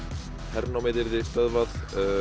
hernámið yrði stöðvað